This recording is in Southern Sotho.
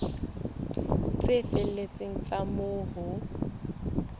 tse felletseng tsa moo ho